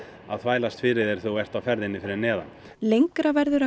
að þvælast fyrir þér þegar þú ert á ferðinni fyrir neðan lengri